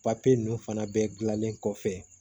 Papiye ninnu fana bɛɛ dilanlen kɔfɛ